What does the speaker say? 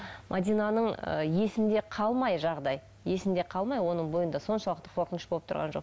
мәдинаның ы есінде қалмай жағдай есінде қалмай оның бойында соншалықты қорқыныш болып тұрған жоқ